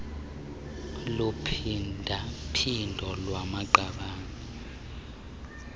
luphinda phindo lwamaqabane